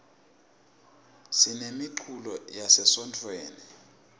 sinemiculo yase sontfweni